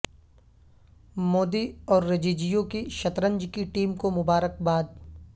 مودی اور رججیو کی شطرنج کی ٹیم کو مبارکباد